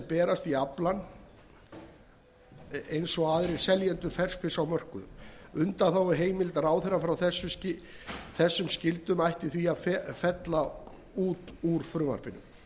berst í aflann eins og aðrir seljendur ferskfisks á mörkuðum undanþáguheimild ráðherra frá þessum skyldum ætti því að fella út úr frumvarpinu